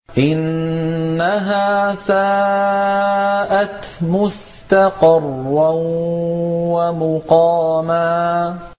إِنَّهَا سَاءَتْ مُسْتَقَرًّا وَمُقَامًا